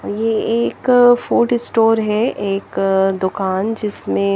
ये एक food store है एक दुकान जिसमे --